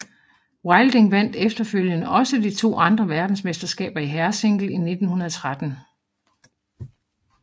Wilding vandt efterfølgende også de to andre verdensmesterskaber i herresingle i 1913